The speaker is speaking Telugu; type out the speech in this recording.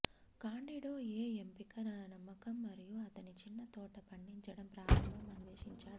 కాండిడో ఏ ఎంపిక నమ్మకం మరియు అతని చిన్న తోట పండించడం ప్రారంభం అన్వేషించాడు